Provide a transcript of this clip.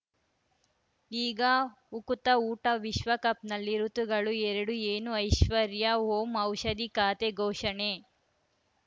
ಈಗ ಉಕುತ ಊಟ ವಿಶ್ವಕಪ್‌ನಲ್ಲಿ ಋತುಗಳು ಎರಡು ಏನು ಐಶ್ವರ್ಯಾ ಓಂ ಔಷಧಿ ಖಾತೆ ಘೋಷಣೆ